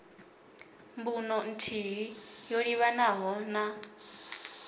mbuno nthihi yo livhanaho na